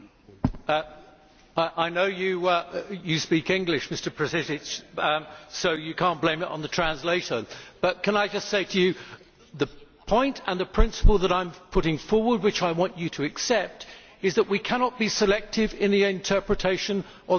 I know you speak English, Mr Protasiewicz, so you cannot blame it on the interpretation, but can I just say to you that the point and the principle that I am putting forward, which I want you to accept, is that we cannot be selective in the interpretation of the defence of principle.